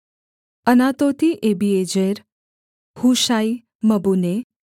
अनातोती अबीएजेर हूशाई मबुन्ने